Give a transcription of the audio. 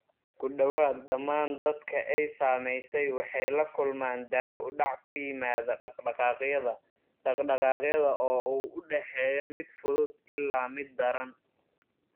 Ku dhawaad ​​dhammaan dadka ay saamaysay waxay la kulmaan daah-u-dhac ku yimaadda dhaqdhaqaaqyada dhaqdhaqaaqa oo u dhexeeya mid fudud ilaa mid daran.